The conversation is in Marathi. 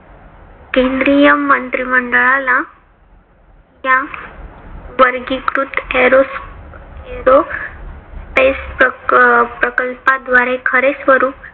केंद्रीय मंत्रिमंडळाला या वर्गीकृत airo aerospace प्रकल्पाद्वारे खरे स्वरूप